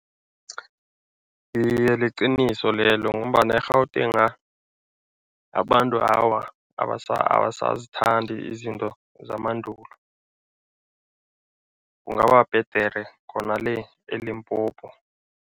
Iye, liqiniso lelo ngombana eGautenga abantu awa, abasazithandi izinto zemandulo. Kungaba bhedere khona le eLimpopo.